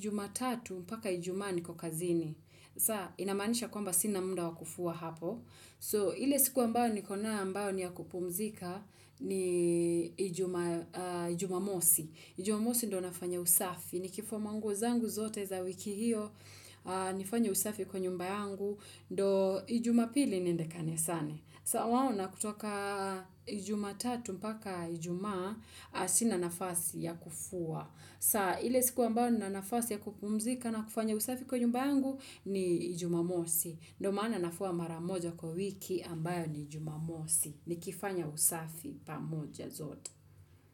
jumatatu mpaka ijumaa niko kazini. Saa, inamaanisha kwamba sina muda wa kufua hapo. So, ile siku ambayo niko nayo ambayo ni ya kupumzika ni jumamosi. Jumamosi ndio nafanya usafi, nikifua manguo zangu zote za wiki hiyo, nifanye usafi kwa nyumba yangu, ndo jumapili niende kanisani. Tawaona kutoka ijumatatu mpaka ijumaa, sina nafasi ya kufua. Sawa, ile siku ambao ninafasi ya kupumzika na kufanya usafi kwa nyumba yangu ni ijumamosi. Ndio maana nafua mara moja kwa wiki ambayo ni jumamosi, nikifanya usafi pamoja zote.